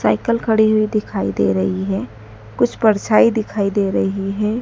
Cycle खड़ी हुई दिखाई दे रही है। कुछ परछाई दिखाई दे रही है।